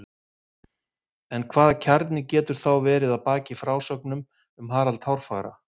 en hvaða kjarni getur þá verið að baki frásögnum um harald hárfagra